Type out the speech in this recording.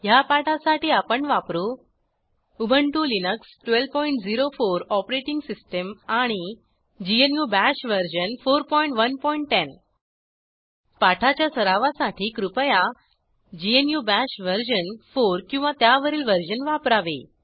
ह्या पाठासाठी आपण वापरू उबंटु लिनक्स 1204 ओएस आणि ग्नू बाश वर्जन 4110 पाठाच्या सरावासाठी कृपया ग्नू बाश वर्जन 4 किंवा त्यावरील वर्जन वापरावे